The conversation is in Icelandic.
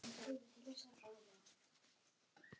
Eitthvað að lokum?